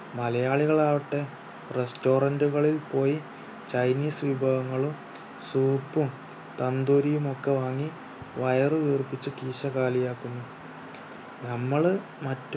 മലയാളികൾ ആവട്ടെ restaurant കളിൽ പോയി ചൈനീസ് വിഭവങ്ങളും soup ഉം tandoori യും ഒക്കെ വാങ്ങി വയറ് വീർപ്പിച് കീശ കാലിയാക്കുന്നു